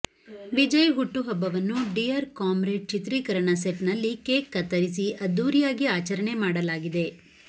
ವಿಜಯ್ ಹುಟ್ಟುಹಬ್ಬವನ್ನು Dear Comrade ಚಿತ್ರೀಕರಣ set ನಲ್ಲಿ ಕೇಕ್ ಕತ್ತರಿಸಿ ಅದ್ಧೂರಿಯಾಗಿ ಆಚರಣೆ ಮಾಡಲಾಗಿದೆ